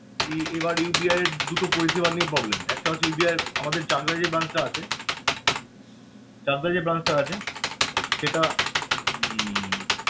এ~ এবার UBI এর দুটো পরিষেবা নিয়ে problem একটা হচ্ছে UBI এর আমাদের চাকদাহ যে branch টা আছে চাকদাহ যে branch টা আছে সেটা উম